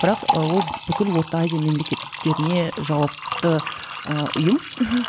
бірақ ол бүкіл орта азия мемлекеттеріне жауапты ы ұйым мхм